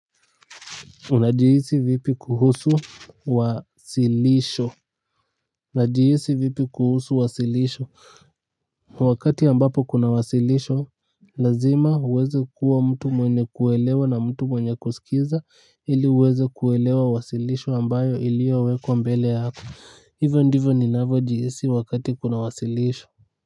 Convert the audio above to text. Unajihisi vipi kuhusu wasilisho, wakati ambapo kuna wasilisho, lazima uweze kuwa mtu mwenye kuelewa na mtu mwenye kusikiza, ili uweze kuelewa wasilisho ambayo iliyowekwa mbele yako, hivyo ndivyo ninavyojihisi wakati kuna wasilisho.